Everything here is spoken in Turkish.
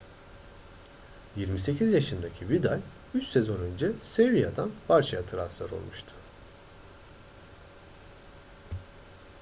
28 yaşındaki vidal üç sezon önce sevilla'dan barça'ya transfer olmuştu